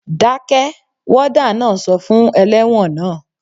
Dákẹ́! Wádà náà sọ fún ẹlẹ́wọ̀n naa